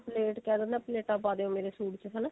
plate ਕਿਹ ਦਿੰਦਾ ਪਲੇਟਾਂ ਪਾ ਦਿਓ ਮੇਰੇ ਸੂਟ ਚ ਹਨਾ